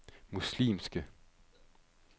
muslimske